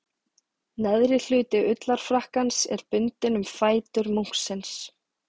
Neðri hluti ullarfrakkans er bundinn um fætur munksins.